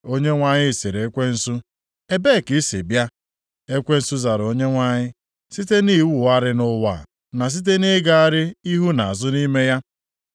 Onyenwe anyị sịrị Ekwensu, “Ebee ka i si abịa?” Ekwensu zara Onyenwe anyị, “Site nʼịwagharị nʼụwa na site nʼịgagharị ihu na azụ nʼime ya.”